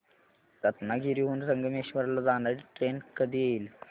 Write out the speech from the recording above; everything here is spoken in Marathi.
रत्नागिरी हून संगमेश्वर ला जाणारी ट्रेन कधी येईल